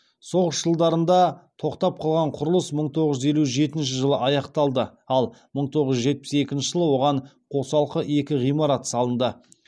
соғыс жылдарында тоқтап қалған құрылыс мың тоғыз жүз елу жетінші жылы аяқталды ал мың тоғыз жүз жетпіс екінші жылы оған қосалқы екі ғимарат салынды